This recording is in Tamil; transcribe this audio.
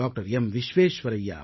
விஸ்வேஸ்வரய்யா அவர்கள்